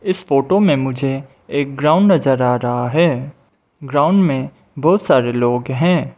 इस फोटो में मुझे एक ग्राउंड नज़र आ रहा है ग्राउंड में बहुत सारे लोग हैं।